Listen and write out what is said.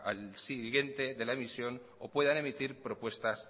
al siguiente de la emisión o puedan emitir propuestas